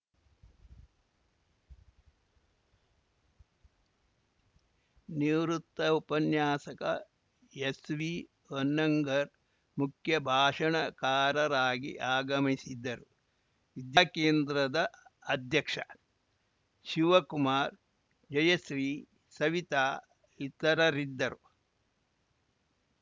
ನಿವೃತ್ತ ಉಪನ್ಯಾಸಕ ಎಸ್‌ವಿ ಹೊನ್ನಂಗರ್‌ ಮುಖ್ಯ ಭಾಷಣಕಾರರಾಗಿ ಆಗಮಿಸಿದ್ದರು ವಿದ್ಯಾಕೇಂದ್ರದ ಅಧ್ಯಕ್ಷ ಶಿವಕುಮಾರ್‌ ಜಯಶ್ರೀ ಸವಿತಾ ಇತರರಿದ್ದರು